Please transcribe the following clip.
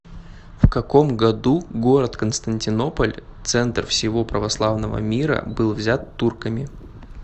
в каком году город константинополь центр всего православного мира был взят турками